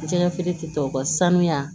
Jɛgɛfeere tɔw ka sanuya